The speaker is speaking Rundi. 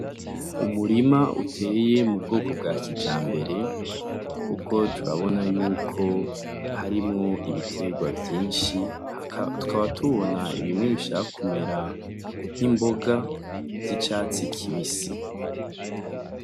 Umurima uteye mu bwoko bwa kijambere, kuko turabona yuko harimwo ibitegwa vyinshi, tukaba tubona bimwe bishaka kumera nk'imboga vy'icatsi kibisi.